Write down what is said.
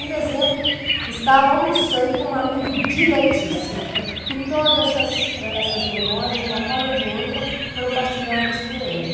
Em dezembro, estava almoçando com um amigo diletíssimo, que todas essas, eh, essas memórias, de uma forma ou de outra, foram partilhadas com ele.